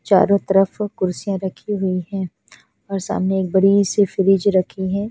चारो तरफ कुर्सिया रखी हुई है और सामने एक बड़ी सी फ्रीज रखी हुई है।